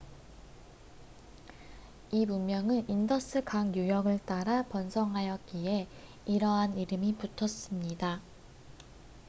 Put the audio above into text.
이 문명은 인더스 강 유역을 따라 번성하였기에 이러한 이름이 붙었습니다